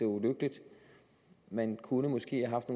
ulykkeligt man kunne måske have haft